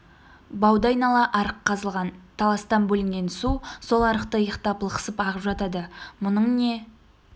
бауды айнала арық қазылған таластан бөлінген су сол арықты иықтап лықсып ағып жатады мұның не